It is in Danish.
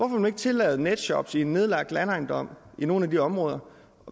man ikke tillade netshops i en nedlagt landejendom i nogle af de områder